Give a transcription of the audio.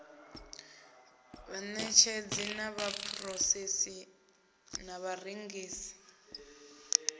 vhanetshedzi na vhaphurosesi na vharengisi